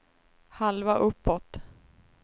halva uppåt